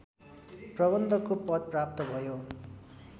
प्रबन्धकको पद प्राप्त भयो